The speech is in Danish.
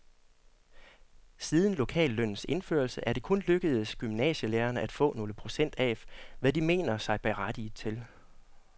Siden lokallønnens indførelse er det kun lykkedes gymnasielærerne at få nogle få procent af, hvad de mener sig berettiget til.